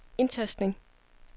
indtastning